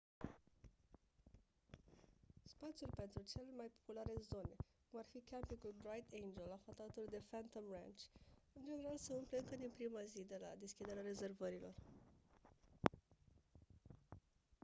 spațiul pentru cele mai populare zone cum ar fi campingul bright angel aflat alături de phantom ranch în general se umple încă din prima zi de la deschiderea rezervărilor